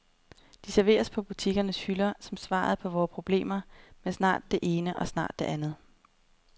De serveres på butikkernes hylder som svaret på vore problemer med snart det ene og snart det andet.